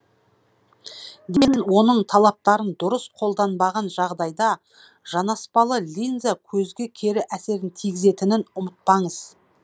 оның талаптарын дұрыс қолданбаған жағдайда жанаспалы линза көзге кері әсерін тигізетінін ұмытпаңыз